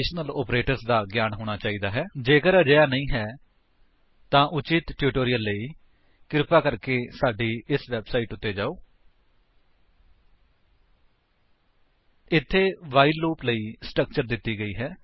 http spoken tutorial org HTTP http spoken tutorial org 160 http spoken tutorial org spoken http spoken tutorial org http spoken tutorial org tutorial http spoken tutorial org http spoken tutorial org org ਇੱਥੇ while loop ਲਈ structure ਦਿੱਤੀ ਗਈ ਹੈ